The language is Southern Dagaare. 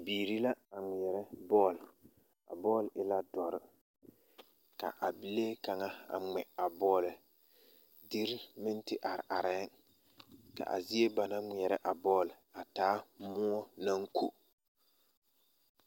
Bibiiri la a ŋmeɛrɛ bɔle a bɔɔle e la dɔre ka a bie kaŋa a ŋmɛ a bɔle deri meŋ te arearɛɛŋ ka a zie ba naŋ ŋmeɛrɛ a bɔle a taa moɔ naŋ ko.